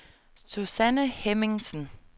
Susanne Hemmingsen